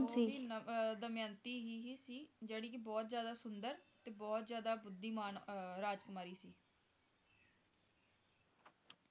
ਅਹ ਦਮਯੰਤੀ ਹੀ ਹੀ ਸੀ ਜਿਹੜੀ ਕੇ ਬਹੁਤ ਜ਼ਿਆਦਾ ਸੁੰਦਰ ਤੇ ਬਹੁਤ ਜ਼ਿਆਦਾ ਬੁੱਧੀਮਾਨ ਅਹ ਰਾਜਕੁਮਾਰੀ ਸੀ